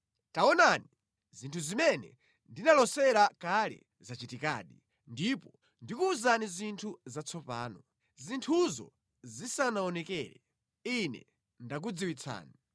Taonani, zinthu zimene ndinalosera kale zachitikadi, ndipo ndikuwuzani zinthu zatsopano; zinthuzo zisanaonekere Ine ndakudziwitsani.”